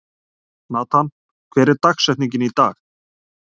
Natan, hver er dagsetningin í dag?